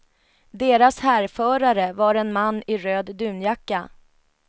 Deras härförare var en man i röd dunjacka.